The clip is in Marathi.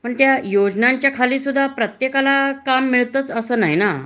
पण त्या योजनांच्या खाली सुद्धा प्रत्येकाला काम मिळतच अस नाही ना